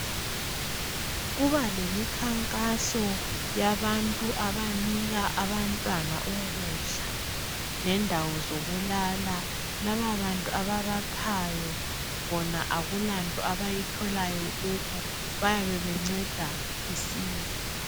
Kuba lemikhankaso yabantu abanika abantwana ukudla lendawo zokulala, laba bantu ababaphawo bona akulanto abayitholayo kibo, bayabe benceda isizwe.